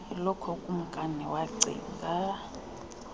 ilokhwe ukumnkani wacinga